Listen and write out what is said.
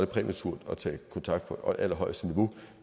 præmaturt at tage kontakt på allerhøjeste niveau